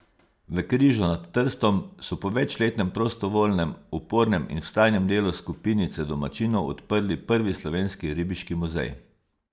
V Križu nad Trstom so po večletnem prostovoljnem, upornem in vztrajnem delu skupinice domačinov odprli prvi slovenski ribiški muzej.